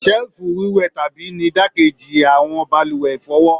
Selifu wíwẹtàbí ni idakeji awọn balùwẹ̀ ifọwọ.